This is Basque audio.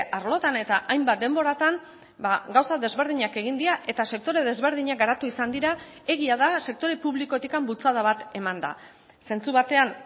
arlotan eta hainbat denboratan gauza desberdinak egin dira eta sektore desberdinak garatu izan dira egia da sektore publikotik bultzada bat eman da zentzu batean